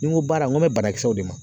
Ni n ko baara n ko n bɛ banakisɛw de ma